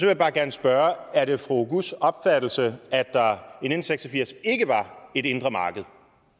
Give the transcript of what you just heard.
jeg bare gerne spørge er det fru oguz opfattelse at der i nitten seks og firs ikke var et indre marked